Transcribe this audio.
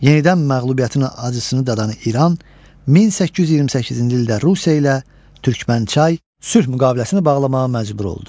Yenidən məğlubiyyətin acısını dadan İran 1828-ci ildə Rusiya ilə Türkmənçay sülh müqaviləsini bağlamağa məcbur oldu.